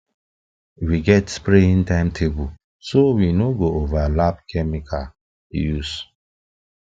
we get spraying timetable so we no go overlap chemical use